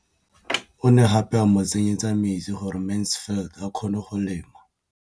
O ne gape a mo tsenyetsa metsi gore Mansfield a kgone go lema.